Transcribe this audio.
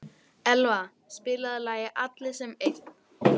Elva, spilaðu lagið „Allir sem einn“.